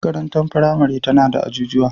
Makarantar firamare tana da ajujuwa.